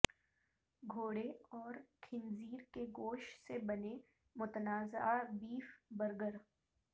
گھوڑے اور خنزیر کے گوشت سے بنے متنازعہ بیف برگر